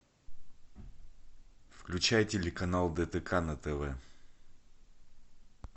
включай телеканал дтк на тв